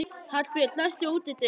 Hallbjörg, læstu útidyrunum.